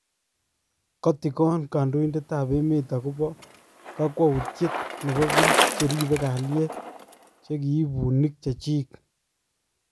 Kotikoon kandoidetab emeet akobo kakwawutyet nebo biik cheribe kalyet chekiib buniik chechik